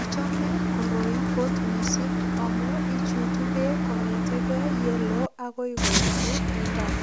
Achome koroi kot mising amu ichutu beek kongete kei yeloo agoi koitu imbar.